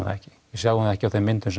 það ekki við sjáum það ekki á þeim myndum